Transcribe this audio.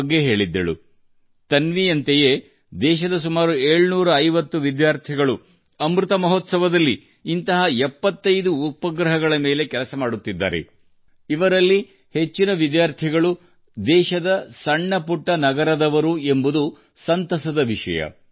ಅಮೃತ್ ಮಹೋತ್ಸವದಲ್ಲಿ ತನ್ವಿಯಂತೆ ದೇಶದ ಸುಮಾರು ಏಳುನೂರೈವತ್ತು ಶಾಲಾ ವಿದ್ಯಾರ್ಥಿಗಳು ಇಂತಹ 75 ಉಪಗ್ರಹಗಳ ಬಗ್ಗೆ ಕಾರ್ಯನಿರತರಾಗಿದ್ದಾರೆ ಮತ್ತು ಈ ವಿದ್ಯಾರ್ಥಿಗಳಲ್ಲಿ ಹೆಚ್ಚಿನವರು ದೇಶದ ಸಣ್ಣ ಪಟ್ಟಣಗಳಿಂದ ಬಂದವರು ಎಂಬುದು ಬಹಳ ಸಂತೋಷದ ಸಂಗತಿ